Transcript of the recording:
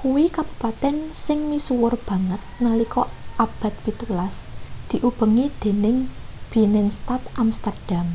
kuwi kabupaten sing misuwur banget nalika abad pitulas diubengi dening binnenstad amsterdam